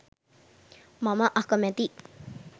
මම අකමැතියි.